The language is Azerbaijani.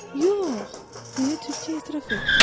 Yox, deyə tülkü etiraf etdi.